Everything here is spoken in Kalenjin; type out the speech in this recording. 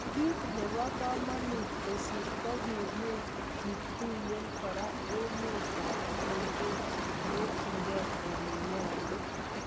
Kit nebokomonut kosir ko kikimuch ... kituyen kora emet ogewekyi ele nyolu.